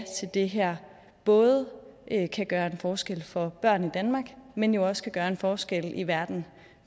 til det her både kan kan gøre en forskel for børn i danmark men jo også kan gøre en forskel i verden